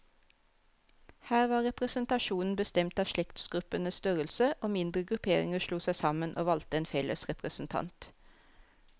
Her var representasjonen bestemt av slektsgruppenes størrelse, og mindre grupperinger slo seg sammen, og valgte en felles representant.